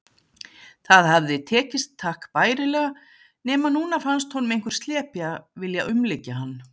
Það hafði tekist takk bærilega, nema núna fannst honum einhver slepja vilja umlykja hann.